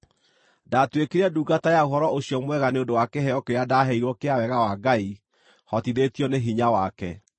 Ndaatuĩkire ndungata ya Ũhoro-ũcio-Mwega nĩ ũndũ wa kĩheo kĩrĩa ndaaheirwo kĩa wega wa Ngai hotithĩtio nĩ hinya wake.